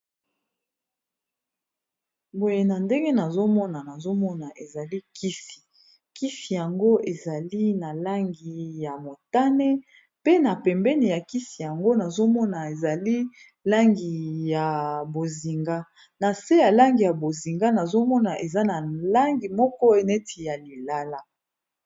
Boye na ndenge nazomona nazomona ezali kisi kisi yango ezali na langi ya motane pe na pembene ya kisi yango nazomona ezali langi ya bozinga na se ya langi ya bozinga nazomona eza na langi moko neti ya lilala